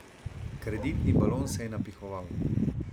Kreditni balon se je napihoval.